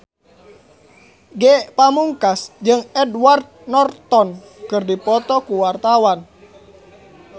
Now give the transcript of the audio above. Ge Pamungkas jeung Edward Norton keur dipoto ku wartawan